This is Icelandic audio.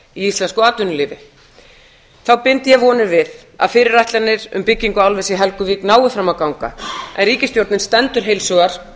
íslensku atvinnulífi þá bind ég vonir við að fyrirætlanir um byggingu álvers í helguvík nái fram að ganga en ríkisstjórnin stendur heilshugar